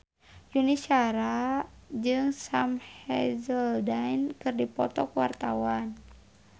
Yuni Shara jeung Sam Hazeldine keur dipoto ku wartawan